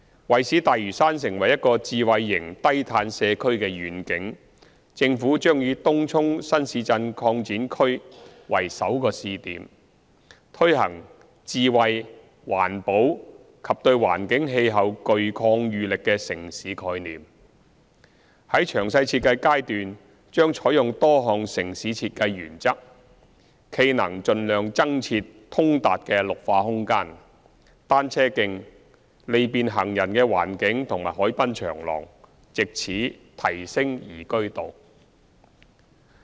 為使大嶼山成為一個智慧型低碳社區的願景，政府將以東涌新市鎮擴展區為首個試點，推行智慧、環保及對環境氣候具抗禦力的城市概念，在詳細設計階段將採用多項城市設計原則，冀能盡量增設通達的綠化空間、單車徑、利便行人的環境和海濱長廊，藉此提升宜居度。